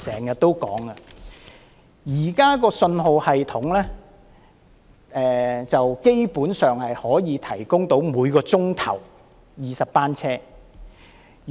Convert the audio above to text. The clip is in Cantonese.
現時的信號系統基本上可以應付每小時20班車。